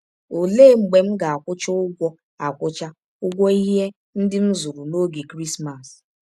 Ọlee mgbe m ga - akwụcha ụgwọ - akwụcha ụgwọ ihe ndị m zụrụ n’ọge Krismas? ’